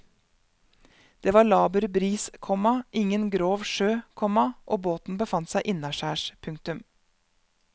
Det var laber bris, komma ingen grov sjø, komma og båten befant seg innaskjærs. punktum